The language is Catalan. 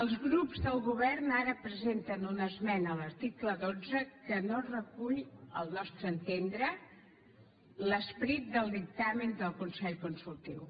els grups de govern ara presenten una esmena a l’article dotze que no recull al nostre entendre l’esperit del dictamen de consell consultiu